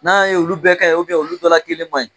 N'a ye olu bɛɛ ka ɲi olu dɔ la kelen man ɲi